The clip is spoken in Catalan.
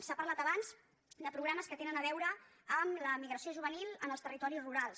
s’ha parlat abans de programes que tenen a veure amb l’emigració juvenil en els territoris rurals